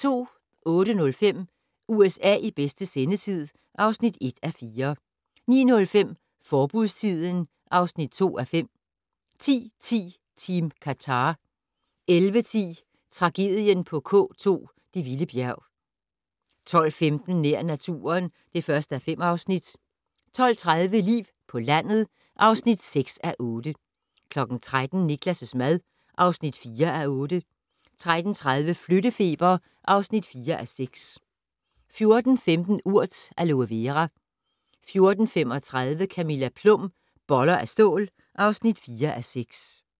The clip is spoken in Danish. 08:05: USA i bedste sendetid (1:4) 09:05: Forbudstiden (2:5) 10:10: Team Qatar 11:10: Tragedien på K2 - det vilde bjerg 12:15: Nær naturen (1:5) 12:30: Liv på landet (6:8) 13:00: Niklas' mad (4:8) 13:30: Flyttefeber (4:6) 14:15: Urt: aloe Vera 14:35: Camilla Plum - Boller af stål (4:6)